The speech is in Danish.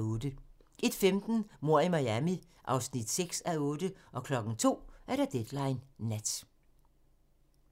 01:15: Mord i Miami (6:8) 02:00: Deadline Nat